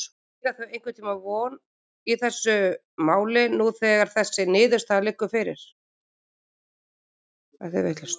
Eiga þau einhverja von í þessu máli nú þegar þessi niðurstaða liggur fyrir?